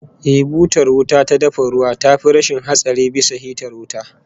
Eh, butar wuta ta dafa ruwa tafi rashin hatsari bisa hitar wuta